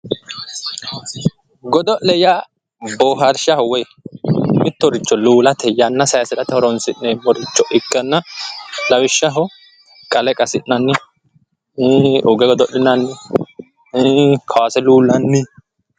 Godo'le yaa bohaarshaho woyi mittoricho luulate yanna saysate horonsi'neemmoricho ikkanna lawishshaho qale qassi'nanni ,uge godo'linnanni kawaase luulanni.